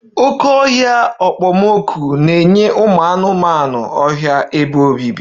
Oké ọhịa okpomọkụ na-enye ụmụ anụmanụ ọhịa ebe obibi